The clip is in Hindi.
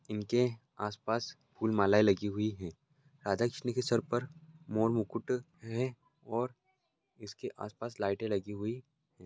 इनके आसपास फूल मालाएं लगी हुई है राधा कृष्ण के सर पर मोर मुकुट है और इसके आसपास लाईटे लगी हुई है।